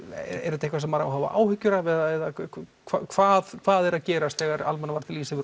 eitthvað sem maður á að hafa áhyggjur af eða hvað hvað er að gerast þegar Almannavarnir lýsa yfir